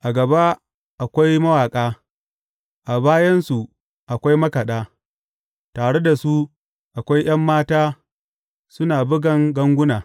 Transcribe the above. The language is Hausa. A gaba akwai mawaƙa, a bayansu akwai makaɗa; tare da su akwai ’yan mata suna bugan ganguna.